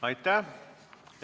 Aitäh!